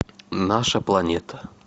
наша планета